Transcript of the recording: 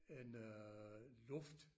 En øh luft